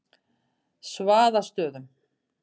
Svaðastöðum